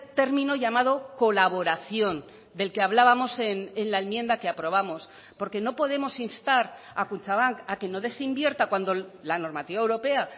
término llamado colaboración del que hablábamos en la enmienda que aprobamos porque no podemos instar a kutxabank a que no desinvierta cuando la normativa europea